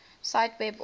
cite web author